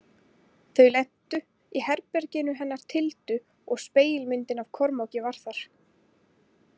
Þau lentu í herberginu hennar Tildu og spegilmyndin af Kormáki var þar.